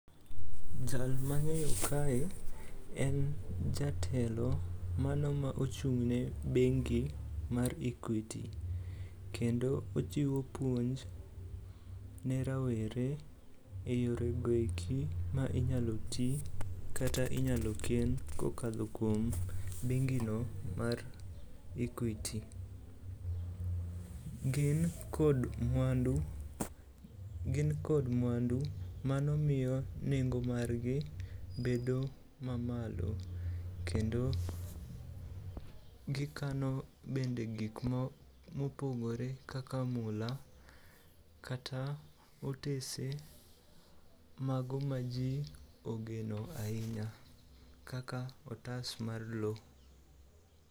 Jal ma ang'eyo kae en jatelo mano ma ochung'ne bengi mar Equity, kendo ochiwo puonj ne rowere e yorego eki ma inyalo ti kata ma inyalo ken kokadho kuom bengi no mar equity. Gin kod mwandu mano miyo nengo margi bedo mamalo kendo gikano bende gik mopogore kaka mula kata otese mago ma ji ogeno ahinya kaka otas mar lo.